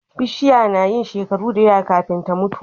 Bishiya nayin shekaru dayawa kafin ta mutu